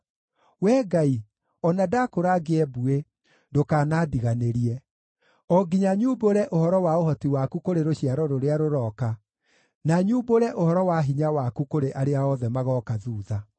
Wee Ngai, o na ndakũra ngĩe mbuĩ, ndũkanandiganĩrie, o nginya nyumbũre ũhoro wa ũhoti waku kũrĩ rũciaro rũrĩa rũrooka, na nyumbũre ũhoro wa hinya waku kũrĩ arĩa othe magooka thuutha.